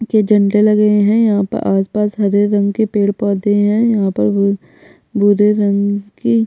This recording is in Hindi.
ये झंडे लगे है यहाँ पर आस - पास हरे रंग के पेड़ पौधे है यहाँ पर भू भूरे रंग की --